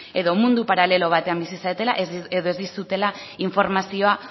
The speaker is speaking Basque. edo mundu paralelo batean bizi zaretela edo ez dizutela informazioa